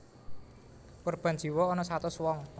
Korban jiwa ana satus wong